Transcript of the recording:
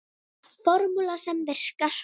Formúla sem virkar.